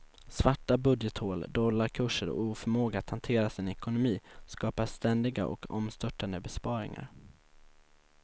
Svarta budgethål, dollarkurser och oförmåga att hantera sin ekonomi skapar ständiga och omstörtande besparingar.